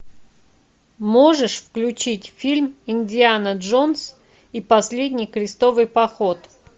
можешь включить фильм индиана джонс и последний крестовый поход